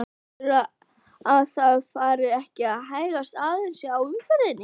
Heldurðu að það fari ekki að hægjast aðeins á umferðinni?